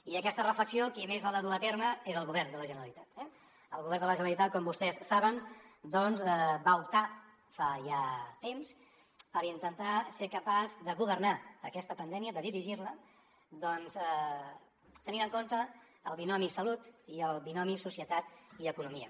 i aquesta reflexió qui més l’ha de dur a terme és el govern de la generalitat eh el govern de la generalitat com vostès saben doncs va optar fa ja temps per intentar ser capaç de governar aquesta pandèmia de dirigir la doncs tenint en compte el binomi salut i societat i economia